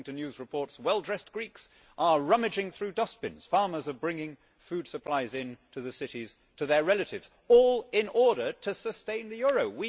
According to news reports, well dressed Greeks are rummaging through dustbins and farmers are bringing food supplies into the cities to their relatives all in order to sustain the euro.